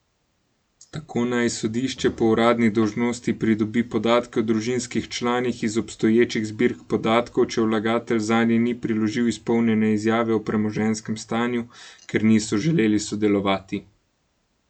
Tako naj sodišče po uradni dolžnosti pridobi podatke o družinskih članih iz obstoječih zbirk podatkov, če vlagatelj zanje ni priložil izpolnjene izjave o premoženjskem stanju, ker niso želeli sodelovati.